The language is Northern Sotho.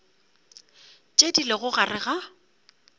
tše di lego gare ga